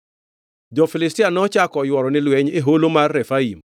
Jo-Filistia nochako oyworo ni lweny e holo mar Refaim;